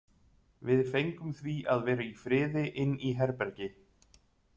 Við fengum því að vera í friði inni í herbergi.